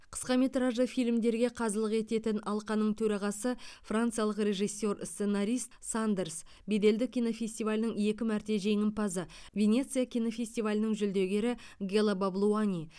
қысқаметражды фильмдерге қазылық ететін алқаның төрағасы франциялық режиссер сценарист сандерс беделді кинофестивалінің екі мәрте жеңімпазы венеция кинофестивалінің жүлдегері гела баблуани